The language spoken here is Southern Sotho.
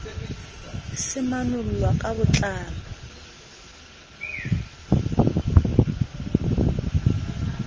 se manollwa ka bo tlalo